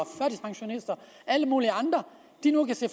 alle mulige andre nu kan se